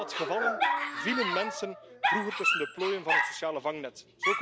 In heel wat gevallen vielen mensen vroeger tussen de plooien van het sociale vangnet.